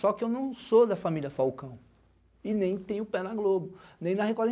Só que eu não sou da família Falcão e nem tenho pé na Globo, nem na Record.